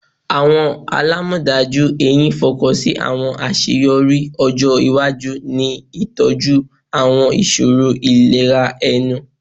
Awọn alamọdaju ehín fokansi awọn aṣeyọri ọjọ iwaju.in itọju awọn iṣoro ilera ẹnu